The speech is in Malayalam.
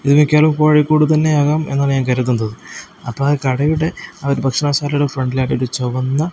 ഇത് മിക്കവാറും കോഴിക്കോട് തന്നെയാവാം എന്നാണ് ഞാൻ കരുതുന്നത് അപ്പ ആ കടയുടെ ആ ഒരു ഭക്ഷണശാലയുടെ ഫ്രണ്ടിലായിട്ട് ഒരു ചുവന്ന--